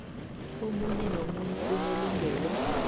omunye nomunye unelungelo